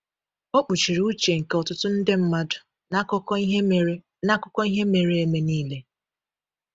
O “kpuchiri uche” nke ọtụtụ nde mmadụ n’akụkọ ihe mere n’akụkọ ihe mere eme niile.